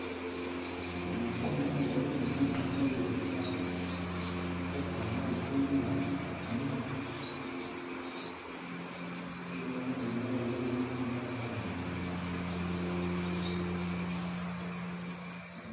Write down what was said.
Liboso na ngana azali komona mai ya ebale, na kati ya mai etondi matiti ming,i pe naomona mai yango eza neti mai ya salite.